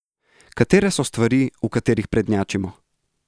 Katere so stvari, v katerih prednjačimo?